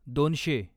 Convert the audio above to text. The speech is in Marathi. दोनशे